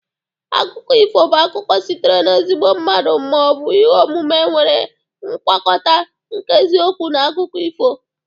Akụkọ ifo bụ akụkọ sitere n'ezigbo mmadụ ma ọ bụ ihe omume nwere ngwakọta nke eziokwu na akụkọ ifo.